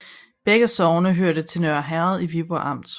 Begge sogne hørte til Nørre Herred i Viborg Amt